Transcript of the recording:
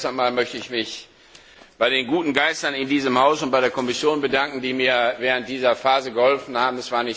Zuerst einmal möchte ich mich bei den guten Geistern in diesem Haus und bei der Kommission bedanken, die mir während dieser Phase geholfen haben.